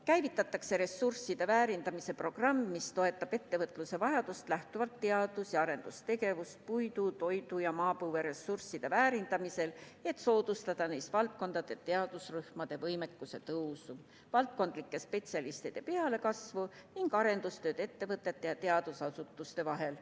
Käivitatakse ressursside väärindamise programm, mis toetab ettevõtluse vajadusest lähtuvat teadus- ja arendustegevust puidu, toidu ja maapõueressursside väärindamisel, et soodustada neis valdkondades teadusrühmade võimekuse tõusu, valdkondlike spetsialistide pealekasvu ning arenduskoostööd ettevõtete ja teadusasutuste vahel.